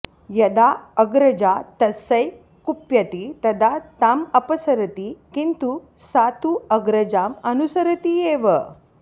यदा अग्रजा तस्यै कुप्यति तदा ताम् अपसरति किन्तु सा तु अग्रजाम् अनुसरति एव